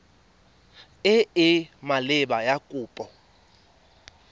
e e maleba ya kopo